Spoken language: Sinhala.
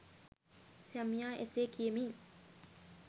සැමියා එසේ කියමින්